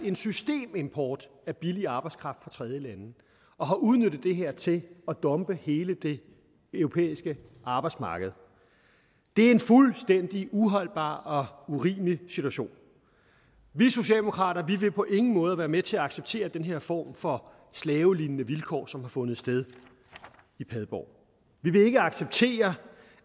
en systemimport af billig arbejdskraft fra tredjelande og har udnyttet det her til at dumpe hele det europæiske arbejdsmarked det er en fuldstændig uholdbar og urimelig situation vi socialdemokrater vil på ingen måde være med til at acceptere den her form for slavelignende vilkår som har fundet sted i padborg vi vil ikke acceptere